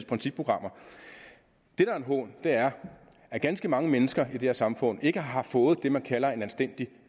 principprogrammer er at ganske mange mennesker i det her samfund ikke har fået det man kalder en anstændig